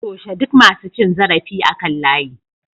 Toshe duk masu cin zarafi akan layi